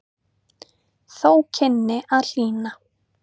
Þó kynni að hlýna.